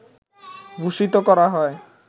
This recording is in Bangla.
ভূষিত করা হয়